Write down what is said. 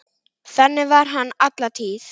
Þannig var hann alla tíð.